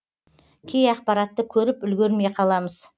кей ақпаратты көріп үлгермей қаламыз